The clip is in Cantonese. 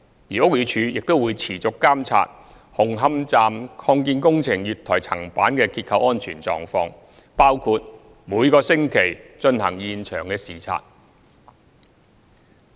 而屋宇署亦會持續監察紅磡站擴建工程月台層板的結構安全狀況，包括每星期進行現場視察。